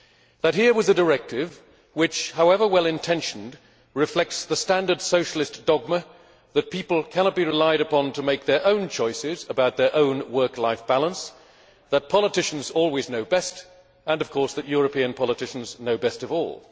that here was a directive which, however well intentioned, reflects the standard Socialist dogma that people cannot be relied upon to make their own choices about their own work life balance, that politicians always know best and that, of course, European politicians know best of all